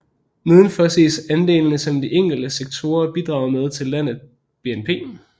Nedenfor ses andelene som de enkelte sektorer bidrager med til landet BNP